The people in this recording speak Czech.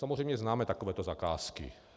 Samozřejmě známe takové zakázky.